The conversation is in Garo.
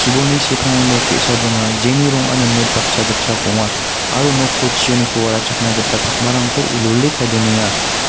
chibolni sepango nok ge·sa donga jeni rongan rimit baksa gitchak ong·a aro noko chioniko warachakna gita pakmarangko wilwile kae donenga.